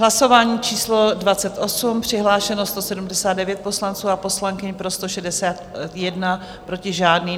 Hlasování číslo 28, přihlášeno 179 poslanců a poslankyň, pro 161, proti žádný.